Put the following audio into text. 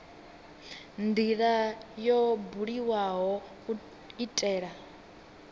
ndila yo buliwaho u itela